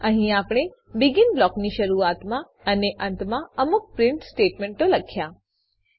અહીં આપણે બેગિન બ્લોકની શરૂઆતમાં અને અંતમાં અમુક પ્રીંટ સ્ટેટમેંટ લખ્યા છે